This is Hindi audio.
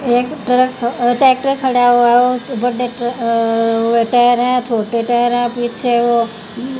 एक ट्रक ट्रैक्टर खड़ा हुआ है बड़े अह टायर हैं छोटे टायर हैं पीछे वो--